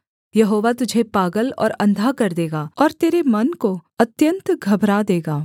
यहोवा तुझे पागल और अंधा कर देगा और तेरे मन को अत्यन्त घबरा देगा